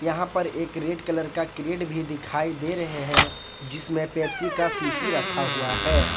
यहां पर एक रेड कलर क्रेड भी दिखाई दे रहे हैं जिसमे पेप्सी का शीशी रखा हुआ है।